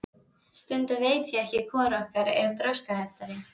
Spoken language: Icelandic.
Stundum veit ég nú ekki hvor okkar er þroskaheftari.